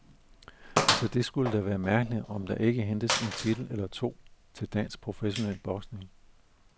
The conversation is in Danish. Så det skulle da være mærkeligt, om der ikke hentes en titel eller to til dansk professionel boksning.